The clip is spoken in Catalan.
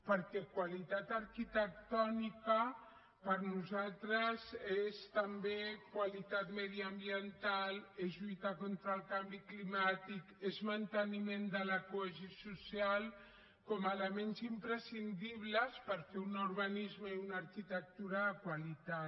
perquè qualitat arquitectònica per nosaltres és també qualitat mediambiental és lluitar contra el canvi climàtic és manteniment de la cohesió social com a elements imprescindibles per fer un urbanisme i una arquitectura de qualitat